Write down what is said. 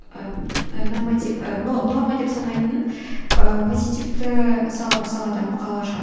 ы норматив і но но норма деп санайтын позитивті салада мақала шығады